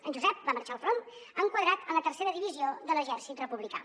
en josep va marxar al front enquadrat en la tercera divisió de l’exèrcit republicà